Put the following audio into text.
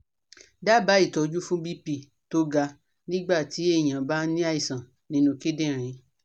Daba itoju fun BP to ga nigba ti eyan ba ni aisan ninu kindinriń